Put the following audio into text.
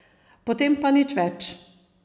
Potem pa nič več.